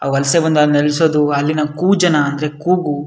ವಲಸೆ ಬಂದು ಅಲ್ ನೆಲೆಸೋದು ಅಲ್ಲಿನ ಕು ಜನ ಅಂದ್ರೆ ಕೂಗು --